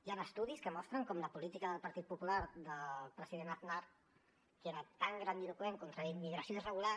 hi han estudis que mostren com la política del partit popular del president aznar que era tan grandiloqüent contra la immigració irregular